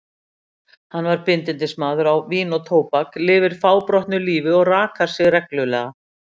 Hann er bindindismaður á vín og tóbak, lifir fábrotnu lífi og rakar sig reglulega.